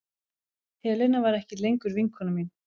Helena var ekki lengur vinkona mín.